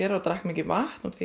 og drakk mikið vatn af því